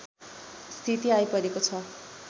स्थिति आइपरेको छ